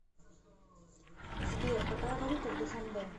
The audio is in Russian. сбер какая валюта в душанбе